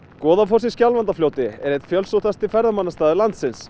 Goðafoss í Skjálfandafljóti er einn fjölsóttasti ferðamannastaður landsins